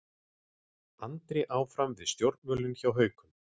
Andri áfram við stjórnvölinn hjá Haukum